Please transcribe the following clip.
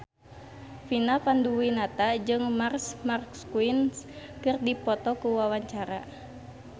Vina Panduwinata jeung Marc Marquez keur dipoto ku wartawan